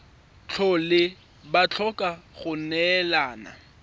tlhole ba tlhoka go neelana